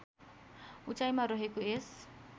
उचाइमा रहेको यस